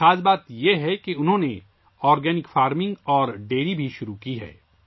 خاص بات یہ ہے کہ اس نے آرگینک فارمنگ اور ڈیری بھی شروع کی ہے